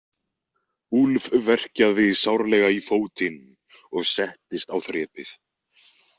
Úlf verkjaði sárlega í fótinn og settist á þrepið.